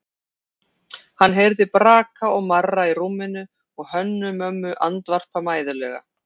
Hann heyrði braka og marra í rúminu og Hönnu-Mömmu andvarpa mæðulega.